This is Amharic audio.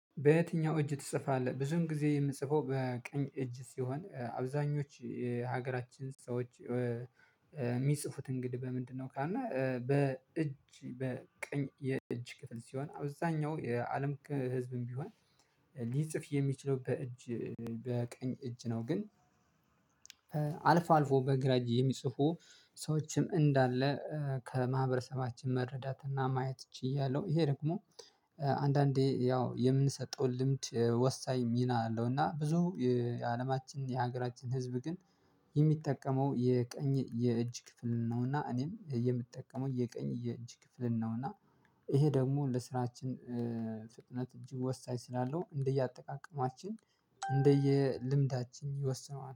በየትኛው እጅህ ትጽፋለህ? ብዙን ጊዜ የምጽፈው በቀኝ እጅ ሲሆን አብዛኞች ሀገራችን ሰዎች የሚጽፉት እንግዲህ በምንድነው ካልነ በእጅ በቀኝ የእጅ ክፍል ሲሆን አብዛኛው የአለም ህዝብም ቢሆን ሊጽፍ የሚችለው በእጅ በቀኝ እጅ ነው። ግን አልፎ አልፎ በግራ የሚጽፉ ሰዎችም እንዳለ ከማህበረሰባችን መረዳትና ማየት ችያለሁ። ይሄ ደግሞ አንዳንዴ ያው የምንሰጠውን ልምድ ወሳኝ ሚና አለው እና ብዙ የአለማችን የሀገራችን ህዝብ ግን የሚጠቀመው የቀኝ የእጅ ክፍል ነውና እኔም የምጠቀመው የቀኝ የእጅ ክፍል ነውና ይሄ ደግሞ ለስራችን ፍጥነት እጅግ ወሳኝ ስላለው እንደየአጠቃቀማችን እንደየልምዳችን ይወስነዋል።